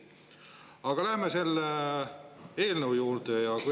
Aga läheme selle eelnõu juurde.